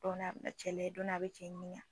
Dɔɔni a bɛna cɛ layɛ dɔɔni a bɛ cɛ ɲininka.